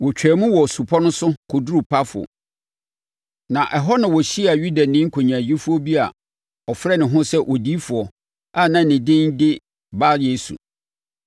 Wɔtwaam wɔ supɔ no so kɔduruu Pafo, na ɛhɔ na wɔhyiaa Yudani nkonyaayifoɔ bi a ɔfrɛ ne ho sɛ odiyifoɔ a na ne din de Bar-Yesu.